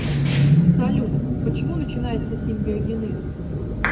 салют почему начинается симбиогенез